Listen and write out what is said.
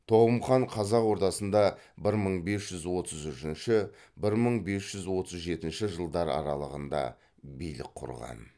тоғым хан қазақ ордасында бір мың бес жүз отыз үшінші бір мың бес жүз отыз жетінші жылдар аралығында билік құрған